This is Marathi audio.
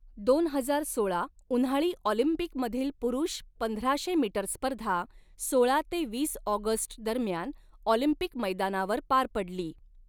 दोन हजार सोळा उन्हाळी ऑलिंपिकमधील पुरुष पंधराशे मीटर स्पर्धा सोळा ते वीस ऑगस्ट दरम्यान ऑलिंपिक मैदानावर पार पडली.